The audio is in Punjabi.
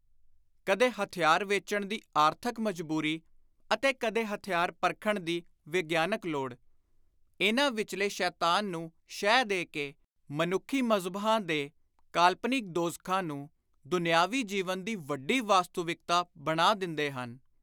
ਕਦੇ ਹਥਿਆਰ ਵੇਚਣ ਦੀ ਆਰਥਕ ਮਜਬੂਰੀ ਅਤੇ ਕਦੇ ਹਥਿਆਰ ਪਰਖਣ ਦੀ ਵਿਗਿਆਨਕ ਲੋੜ, ਇਨ੍ਹਾਂ ਵਿਚਲੇ ਸ਼ੈਤਾਨ ਨੂੰ ਸ਼ਹਿ ਦੇ ਕੇ, ਮਨੁੱਖੀ ਮਜ਼ਹਬਾਂ ਦੇ ਕਾਲਪਨਿਕ ਦੋਜ਼ਖ਼ਾਂ ਨੂੰ ਦੁਨਿਆਵੀ ਜੀਵਨ ਦੀ ਵੱਡੀ ਵਾਸੂਤਵਿਕਤਾ ਬਣਾ ਦਿੰਦੇ ਹਨ।